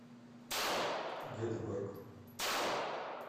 гетеборг